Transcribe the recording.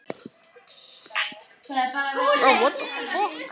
Hann smíðaði líka utan um barnið hennar